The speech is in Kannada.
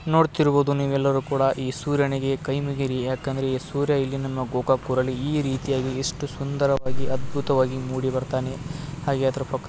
ನೋಡ್ತಿರುವುದು ನೀವೆಲ್ಲರೂ ಕೂಡ ಈ ಸೂರ್ಯನಿಗೆ ಕೈಮುಗಿರಿ ಯಾಕ ಅಂದ್ರೆ ಈ ಸೂರ್ಯ ಎಲ್ಲಿ ನಮ್ಮ ಗೂಗಾಕ್ ಊರಲ್ಲಿ ಈ ರೀತಿಯಾಗಿ ಎಷ್ಟು ಸುಂದರವಾಗಿ ಅದ್ಭುತವಾಗಿ ಮೂಡಿಬರ್ತನೆ ಹಾಗೆ ಅದ್ರ ಪಕ್ --